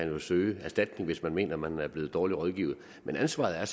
jo søge erstatning hvis man mener at man er blevet dårligt rådgivet men ansvaret